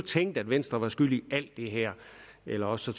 tænkte at venstre var skyld i alt det her eller også